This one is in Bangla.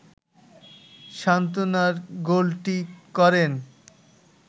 সান্ত্বনার গোলটি করেন